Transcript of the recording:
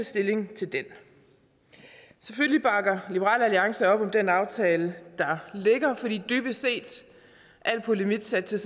stilling til den selvfølgelig bakker liberal alliance op om den aftale der ligger for dybest set al polemik sat til